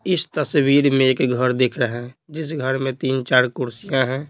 इस तस्वीर में एक घर दिख रहा है जिस घर में तीन-चार कुर्सियां हैं।